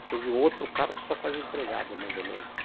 Depois o outro carro só com as empregadas, mais ou menos.